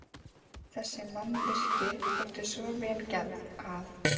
Þessi mannvirki þóttu svo vel gerð, að